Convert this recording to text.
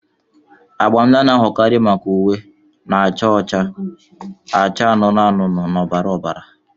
Agba ndị a na-ahụkarị maka uwe na-acha ọcha, acha anụnụ anụnụ na ọbara ọbara.